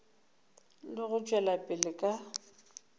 le go tšwela pele ka